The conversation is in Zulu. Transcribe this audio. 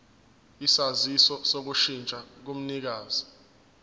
isaziso sokushintsha komnikazi